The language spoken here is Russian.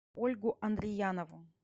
ольгу андриянову